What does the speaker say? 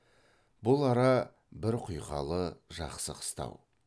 бұл ара бір құйқалы жақсы қыстау